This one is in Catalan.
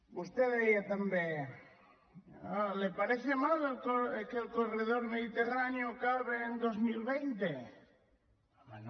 vostè deia també le parece mal que el corredor mediterráneo acabe en dos mil vint no home no